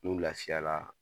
N'u lafiyara.